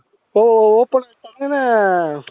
open ಅಯ್ತು ಆಗ್ತಾನೇ